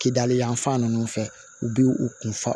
Kidali yan fan ninnu fɛ u bi u kun fa